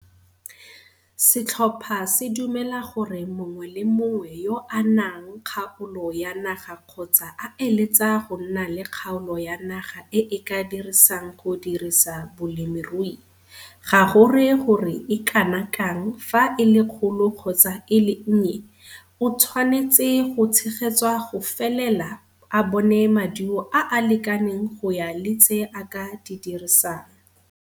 Setlhopha se dumela gore mongwe le mongwe yo a nang kgaolo ya naga kgotsa a eletsa go nna le kgaolo ya naga e a ka e dirisang go dirisa bolemirui, ga go re gore e kana kang fa e le kgolo kgotsa e le nnye, o tshwanetse go tshegetswa go felela a bone maduo a a lekaneng go ya le tse a ka di dirsang.